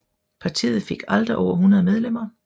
Partiet fik aldrig over 100 medlemmer